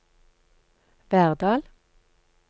Verdal